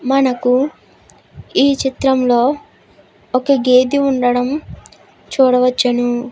మనకు ఈ చిత్రంలో ఒక గేద ఉండడం చూడవచ్చు.